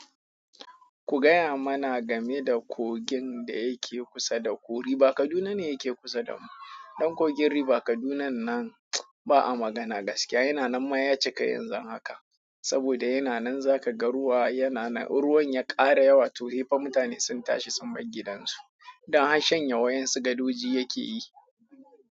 Ku gaya mana game da kogin da yake kusa da ku. Riba Kaduna ne yake kusa da mu. Ɗan kogin Riba Kadunan nan ba a magana gaskiya. Yana nan ma ya cika yanzu haka saboda yana nan za ka ga ruwa. Yana nan in ruwan ya ƙara yawa toh sai fa mutane sun tashi sun bar gidansu don har shanye yawan su gadoji yake yi.